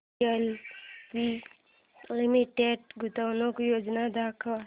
DLF Limited गुंतवणूक योजना दाखव